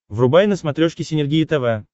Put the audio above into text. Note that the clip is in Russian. врубай на смотрешке синергия тв